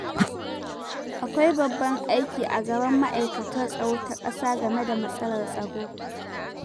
Akwai babban aiki a gaban Ma'aikatar Tsaro ta Ƙasa game da matsalar tsaro.